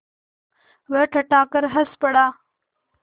वह ठठाकर हँस पड़ा